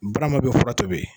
Barama bɛ fura tobi.